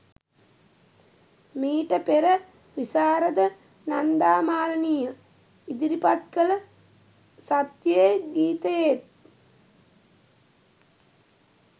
මීට පෙර විශාරද නන්දා මාලනිය ඉදිරිපත් කළ සත්‍යයේ ගීතයේත්